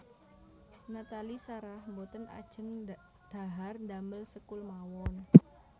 Nathalie Sarah mboten ajeng dhahar ndamel sekul mawon